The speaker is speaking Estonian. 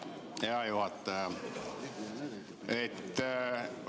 Hea juhataja!